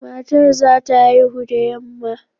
Matar za ta haihu da yamma